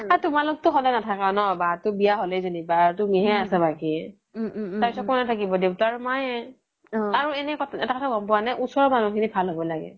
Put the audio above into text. তোমালোক তো স্দাই নাথাকা ন বাৰতো বিয়া হ্'লে তুমি হে আছা বাকি তাৰ পিছ্ত কোনে থাকিব দেউতা আৰু মায়ে আৰু এটা কথা গ্'ম পুৱা নে ওচৰৰ মনুহ খিনি ভাল হ'ব লাগে